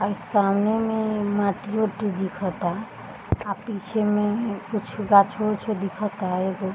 हइ समने में माटी ओटी दिखता | आ पीछे में कुछ गाँछ ऊँछो दिखता एगो |